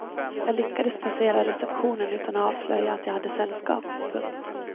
Jag lyckades passera receptionen utan att avslöja att jag hade sällskap. punkt